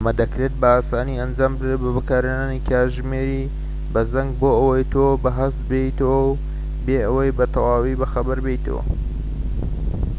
ئەمە دەکرێت بە ئاسانی ئەنجام بدرێت بە بەکارهێنانی کاتژمێری بە زەنگ بۆ ئەوەی تۆ بە هەست بێنێتەوە بێ ئەوەی بە تەواوی بەخەبەر بێیتەوە